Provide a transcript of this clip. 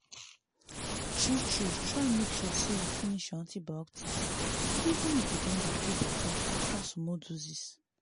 true true try make sure say you finish your antibiotics even if you don dey feel better after small doses.